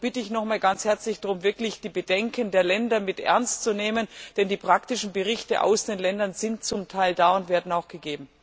Darum bitte ich noch einmal ganz herzlich darum, wirklich die Bedenken der Länder ernst zu nehmen, denn die praktischen Berichte aus den Ländern sind zu Teil da und werden auch gegeben.